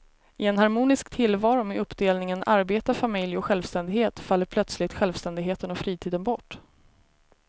I en harmonisk tillvaro med uppdelningen arbete, familj och självständighet faller plötsligt självständigheten och fritiden bort.